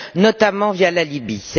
notamment via la Libye.